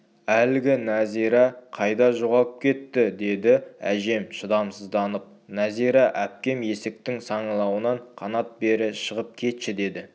әлгі нәзира қайда жоғалып кетті деді әжем шыдамсызданып нәзира әпкем есіктің саңылауынан қанат бері шығып кетші деді